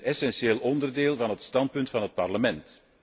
Dat is een essentieel onderdeel van het standpunt van het Parlement.